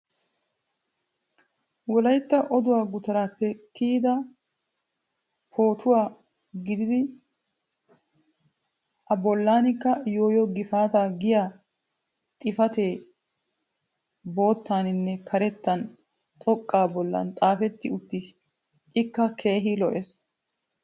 wolaytta odduwaa gutaraappe kiyida pootuwa gididi a bolanikka yooyoo gifaattaa giya xifatee bootaanninne karettan xoqqa bolan xaafetti uttis. ikka keehi lo'ees.